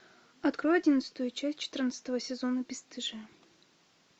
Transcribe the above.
открой одиннадцатую часть четырнадцатого сезона бесстыжие